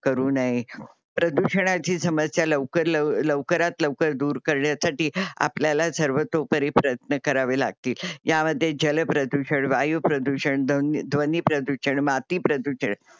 करू नये. प्रदूषणाची समस्या लवकर लवकरात लवकर दूर करण्यासाठी आपल्याला सर्वोतोपरी प्रयत्न करावे लागतील. यामध्ये जल प्रदूषण, वायू प्रदूषण, धून ध्वनी प्रदूषण, माती प्रदूषण